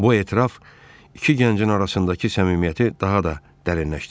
Bu etiraf iki gəncin arasındakı səmimiyyəti daha da dərinləşdirdi.